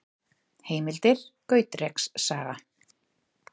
Heimildir: Gautreks saga.